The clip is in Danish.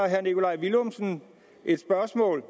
herre nikolaj villumsen spørgsmål